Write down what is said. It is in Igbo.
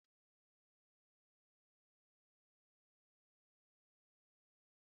Eji otuboala na ose eme tomato akwọrọakwọ